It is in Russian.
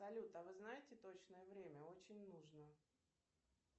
салют а вы знаете точное время очень нужно